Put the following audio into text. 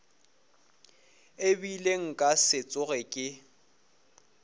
ebile nka se tsoge ke